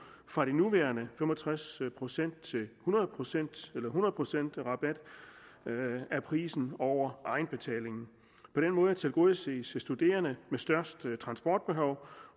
fra de nuværende fem og tres procent til hundrede procent rabat af prisen over egenbetalingen på den måde tilgodeses de studerende der det største transportbehov